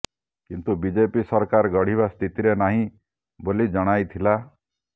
କିନ୍ତୁ ବିଜେପି ସରକାର ଗଢ଼ିବା ସ୍ଥିତିରେ ନାହିଁ ବୋଲି ଜଣାଇଥିଲା